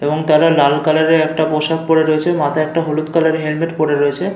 এবং তারা লাল কালার - এর একটা পোষাক পরে রয়েছে । মাথায় একটা হলুদ কালার - এর হেলমেট পরে রয়েছে।